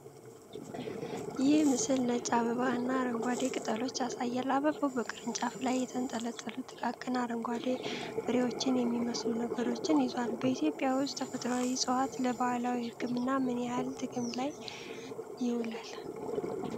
ይህ ምስል ነጭ አበባ እና አረንጓዴ ቅጠሎች ያሳያል። አበባው በቅርንጫፍ ላይ የተንጠለጠሉ ጥቃቅን አረንጓዴ ፍሬዎችን የሚመስሉ ነገሮችን ይዟል። በኢትዮጵያ ውስጥ ተፈጥሮአዊ እፅዋት ለ ባህላዊ ሕክምና ምን ያህል ጥቅም ላይ ይውላል?